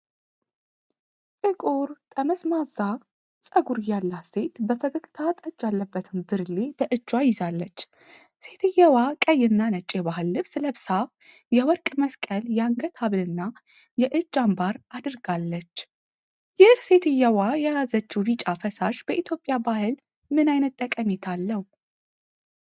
ጥቁር ጠመዝማዛ ፀጉር ያላት ሴት በፈገግታ ጠጅ ያለበትን ብርሌ በእጇ ይዛለች። ሴትየዋ ቀይና ነጭ የባህል ልብስ ለብሳ፣ የወርቅ የመስቀል የአንገት ሐብልና የእጅ አምባር አድርጋለች። ይህ ሴትየዋ የያዘችው ቢጫ ፈሳሽ በኢትዮጵያ ባህል ምን አይነት ጠቀሜታ አለው?